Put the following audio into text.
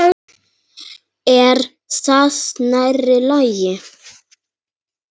Er það nærri lagi?